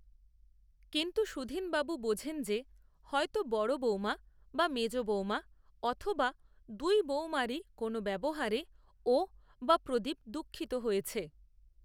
কিন্তু সুধীনবাবু বোঝেন যে, হয়তো বড় বৌমা বা মেজ বৌমা, অথবা দুই বৌমারই কোনো ব্যবহারে, ও, বা প্রদীপ দুঃখিত হয়েছে